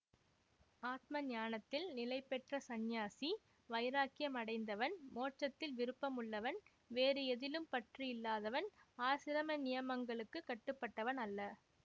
ஆத்ம ஞானத்தில் நிலை பெற்ற சந்நியாசி வைராக்கியம் அடைந்தவன் மோட்சத்தில் விருப்பம் உள்ளவன் வேறு எதிலும் பற்று இல்லாதவன் ஆசிரம நியமங்களுக்கு கட்டுப்பட்டவன் அல்ல